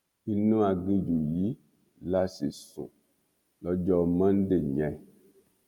inú aginjù yìí la sì sùn lọjọ monde yẹn